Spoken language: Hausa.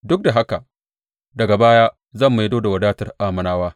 Duk da haka, daga baya, zan maido da wadatar Ammonawa,